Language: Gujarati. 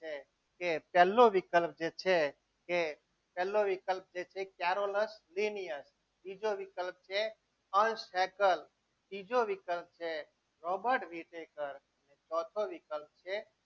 છે કે પહેલો વિકલ્પ જે છે તે પહેલો વિકલ્પ જે છે બીજો વિકલ્પ છે અંશ હેકર ત્રીજો વિકલ્પ છે રોબર્ટ વિટેકર છે.